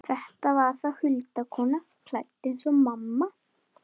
Þetta var þá huldukona, klædd eins og mamma.